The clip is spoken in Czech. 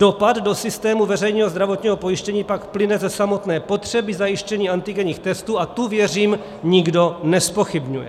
Dopad do systému veřejného zdravotního pojištění pak plyne ze samotné potřeby zajištění antigenních testů a tu, věřím, nikdo nezpochybňuje.